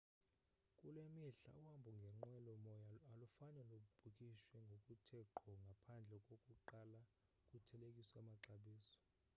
kule mihla uhambo ngenqwelo moya alufane lubhukishwe ngokuthe ngqo ngaphandle kokuqala kuthelekiswe amaxabiso